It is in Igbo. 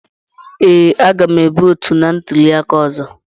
Ee, a ga m votu na ntuli aka ọzọ.